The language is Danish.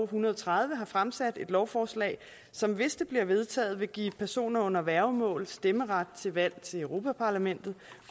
hundrede og tredive har fremsat et lovforslag som hvis det bliver vedtaget vil give personer under værgemål stemmeret ved valg til europa parlamentet